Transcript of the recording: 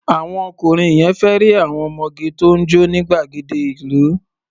Àwọn ọkùnrin yẹn fẹ́ rí àwọn ọmọge tó ń jó ní gbàgede ìlú.